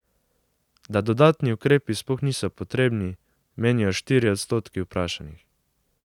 Da dodatni ukrepi sploh niso potrebni, menijo štirje odstotki vprašanih.